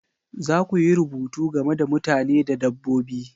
Za ku yi rubutu game da mutane da dabbobi